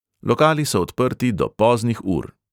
Lokali so odprti do poznih ur.